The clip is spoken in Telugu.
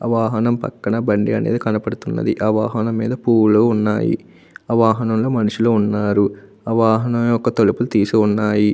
వాహనం పక్కన బండి అనేది కనబడుతున్నది. ఆ వాహనం మీద పూలు ఉన్నవి. ఆ వాహనం లో మనుషులు ఉన్నారు. ఆ వాహనం యొక్క తలుపు తీసి ఉన్నాయి.